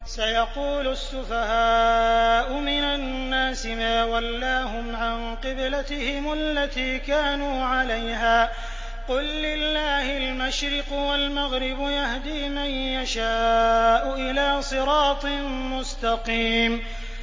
۞ سَيَقُولُ السُّفَهَاءُ مِنَ النَّاسِ مَا وَلَّاهُمْ عَن قِبْلَتِهِمُ الَّتِي كَانُوا عَلَيْهَا ۚ قُل لِّلَّهِ الْمَشْرِقُ وَالْمَغْرِبُ ۚ يَهْدِي مَن يَشَاءُ إِلَىٰ صِرَاطٍ مُّسْتَقِيمٍ